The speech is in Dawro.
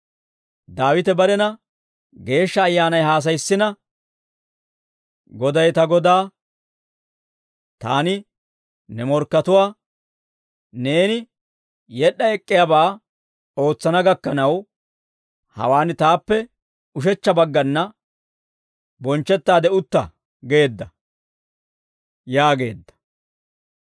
Daawite barena Geeshsha Ayyaanay haasayissina, « ‹Goday ta Godaa, «Taani ne morkkatuwaa, neeni yed'd'a ek'k'iyaabaa ootsana gakkanaw, hawaan taappe ushechcha baggana, bonchchettaade utta» geedda› yaageedda.